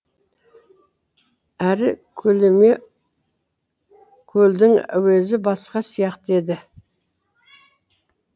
әр көліме көлдің әуезі басқа сияқты еді